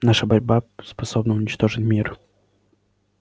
наша борьба способна уничтожить мир